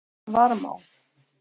Varmá